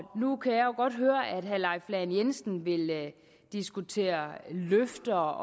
nu kan jeg jo godt høre at herre leif lahn jensen vil diskutere løfter